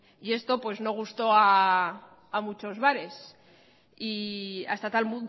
y esto pues no gustó a muchos bares hasta tal